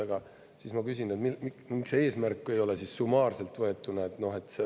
Aga siis ma küsin, et miks see eesmärk ei ole siis summaarselt võetuna.